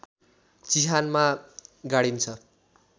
चिहानमा गाडिन्छ